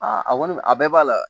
Aa a kɔni a bɛɛ b'a la